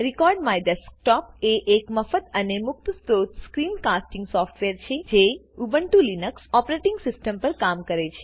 record my desktop એ એક મફત અને મુક્ત સ્ત્રોત સ્ક્રીન કાસ્ટિંગ સોફ્ટવેર છે જે ઉબ્નટુલીનક્સ ઓપ્રેટીંગ સીસ્ટમ પર કામ કરે છે